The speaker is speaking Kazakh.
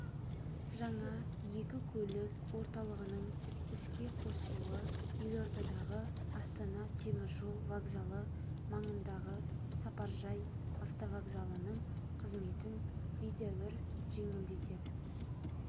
жаңа екі көлік орталығының іске қосылуы елордадағы астана теміржол вокзалы маңындағы сапаржай автовокзалының қызметін едәуір жеңілдетеді